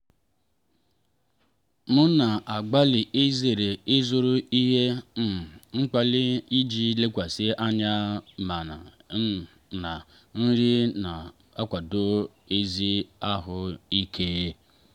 m na-agbalị izere ịzụrụ ihe um mkpali iji lekwasị anya naanị um na nri na-akwado ezi ahụ ike.